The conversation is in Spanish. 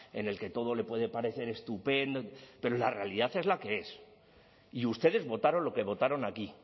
en el que todo le puede parecer estupendo pero la realidad es la que es y ustedes votaron lo que votaron aquí